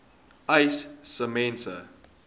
uys sê mense